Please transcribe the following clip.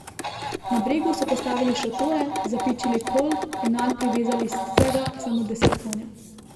Na bregu so postavili šotore, zapičili kol in nanj privezali vsega samo deset konjev.